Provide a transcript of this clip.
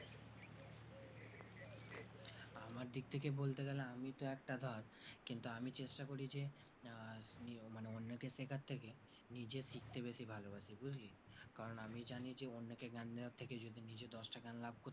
আমার দিকথেকে বলতে গেলে আমি তো একটা ধর কিন্তু আমি চেষ্টা করি যে আহ অন্যকে শেখার থেকে নিজে শিখতে বেশি ভালোবাসি বুজলি কারণ আমি জানি যে অন্যকে জ্ঞান দেবার থেকে যদি নিজে দশটা লাভ করি